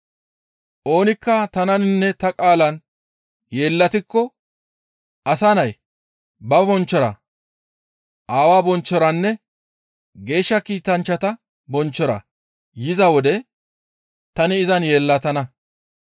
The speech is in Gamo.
Oonikka tananinne ta qaalan yeellatiko Asa Nay ba bonchchora, Aawaa bonchchoranne Geeshsha kiitanchchata bonchchora yiza wode tani izan yeellatana.